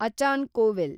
ಅಚಾನ್ Kovil